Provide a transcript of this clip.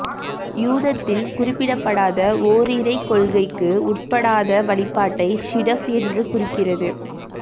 யூதத்தில் குறிப்பிடப்படாத ஓரிறைக் கொள்கைக்கு உட்படாத வழிபாட்டை ஷிடஃப் என்று குறிக்கிறது